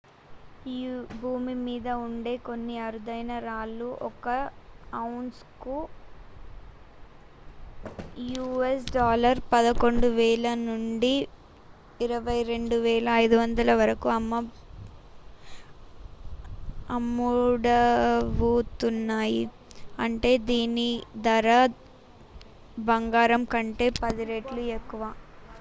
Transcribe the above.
భూమి మీద ఉండే కొన్ని అరుదైన రాళ్ళు ఒక ఔన్స్‌కు us$11,000 నుండి $22,500 వరకు అమ్ముడవుతున్నాయి అంటే దీని ధర బంగారం కంటే 10 రెట్లు ఎక్కువ